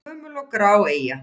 Gömul og grá eyja?